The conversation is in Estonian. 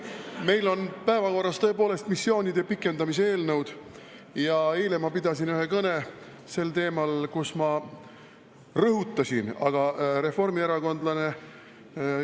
Meil on päevakorras tõepoolest missioonide pikendamise eelnõud ja eile ma pidasin sel teemal ühe kõne, kus ma rõhutasin, et me ei ole missioonide vastu.